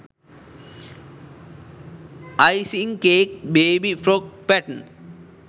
icing cake baby frock pattern